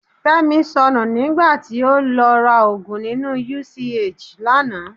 Fẹ́mi sọnù nígbà tí ó lọ ra òògùn nínú UCH lánàá.